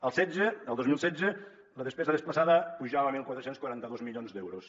el setze el dos mil setze la despesa desplaçada pujava a catorze quaranta dos milions d’euros